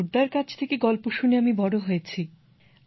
ঠাকুরদার কাছ থেকে গল্প শুনে আমি বড় হয়েছি